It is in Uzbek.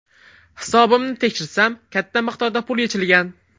Hisobimni tekshirsam katta miqdorda pul yechilgan.